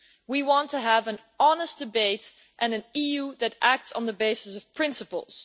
We want to have an honest debate and an EU that acts on the basis of principles.